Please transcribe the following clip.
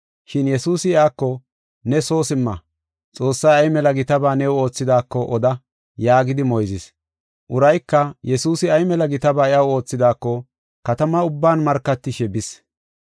Shin Yesuusi iyako, “Ne soo simma, Xoossay ay mela gitaba new oothidaako oda” yaagidi moyzis. Urayka Yesuusi ay mela gitaba iyaw oothidaako katama ubban markatishe bis.